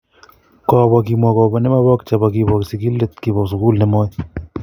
Kobo kimwa kobo ne mebok chebo kibo sigilet kibo sugul nemoi.